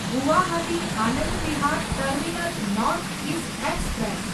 Guwahati Anand Vihar terminal north east express